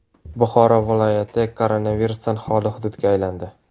Buxoro viloyati koronavirusdan xoli hududga aylandi .